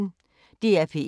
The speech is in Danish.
DR P1